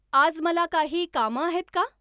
आज मला काही कामं आहेत का?